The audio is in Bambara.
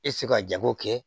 E tɛ se ka jago kɛ